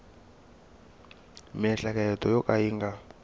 miehleketo yo ka yi nga